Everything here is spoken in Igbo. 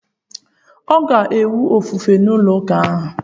Ọ ga-enwe ofufe n'ụlọ ụka ahụ?